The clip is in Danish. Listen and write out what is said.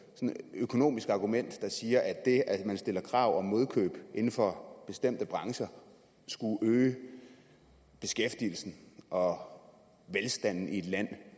økonomisk argument der siger at det at man stiller krav om modkøb inden for bestemte brancher skulle øge beskæftigelsen og velstanden i et land